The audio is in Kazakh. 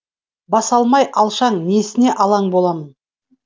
басалмай алшаң несіне алаң боламын